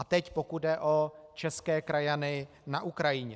A teď pokud jde o české krajany na Ukrajině.